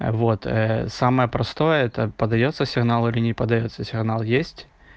вот самое простое это подаётся сигнал или не подаётся сигнал есть